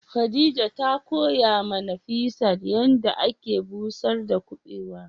Khadija ta koya ma Nafisat yanda ake busar da kubewa.